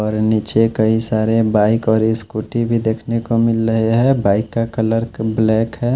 और निचे कई सारे बाईक और ई स्कूटी भी देखने को मिल रहे है बाईक का कलर ब्लैक हैं।